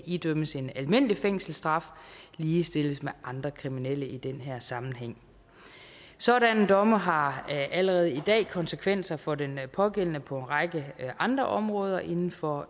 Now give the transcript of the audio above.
idømmes en almindelig fængselsstraf ligestilles med andre kriminelle i den her sammenhæng sådanne domme har allerede i dag konsekvenser for den pågældende på en række andre områder inden for